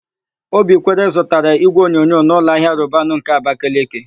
Obikwere zụtara ígwéonyonyo n' ụlọahia Robanu nke Abakeleke.